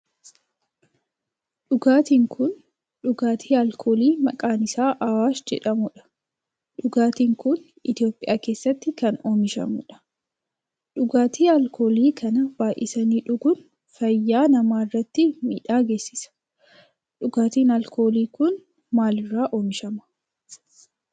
Dhugaatin kun dhugaatii alkoolii maqaan isaa awaash jedhamudha. Dhugaatin kun Itiyoophiyaa keessatti kan oomishamudha. Dhugaatii alkoolii kana baayyisanii dhuguun fayyaa nama irratti miidhaa geessisa. Dhugaatin alkoolii kun maal irraa oomishama?